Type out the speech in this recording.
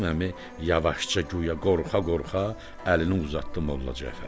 Qasım Əmi yavaşca guya qorxa-qorxa, əlini uzatdı Molla Cəfərə.